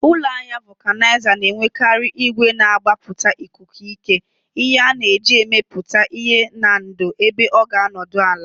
Ụlọ ahịa Vulcanizer na-enwekarị igwe na-agbapụta ikuku ike, ihe a na-eji amịpụta ihe na ndò ebe ọ ga-anọdụ ala.